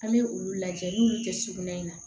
An bɛ olu lajɛ n'u y'olu kɛ sugunɛ in na